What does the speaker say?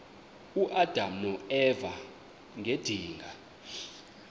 uadam noeva ngedinga